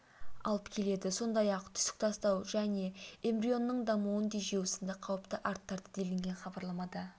алып келеді сондай ақ түсік тастау және эмбрионның дамуын тежеу сынды қауіпті арттырады делінген хабарламада